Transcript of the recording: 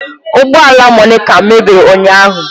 Ụgbọ ala Monica mebiri ụnyahụ